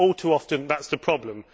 All too often, that is the problem.